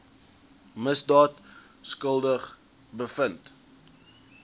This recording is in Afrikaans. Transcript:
misdaad skuldig bevind